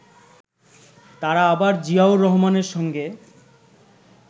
তারা আবার জিয়াউর রহমানের সঙ্গে